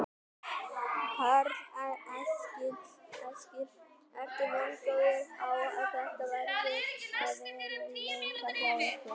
Karl Eskil: Ertu vongóður á að þetta verði að veruleika hjá ykkur?